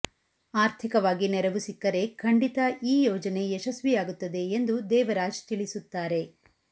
ಆರ್ಥಿಕವಾಗಿ ನೆರವು ಸಿಕ್ಕರೆ ಖಂಡಿತ ಈ ಯೋಜನೆ ಯಶಸ್ವಿಯಾಗುತ್ತದೆ ಎಂದು ದೇವರಾಜ್ ತಿಳಿಸುತ್ತಾರೆ